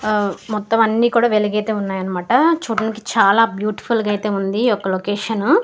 ఆ మొత్తం అన్నీ కూడా వెలిగైతే ఉన్నాయి అనమాట చూడ్డానికి చాలా బ్యూటిఫుల్ గా అయితే ఉంది ఈ యొక్క లొకేషను .